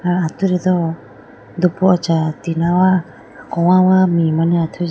ah atudi do dupucha tina wa kogawa mee mane athuji.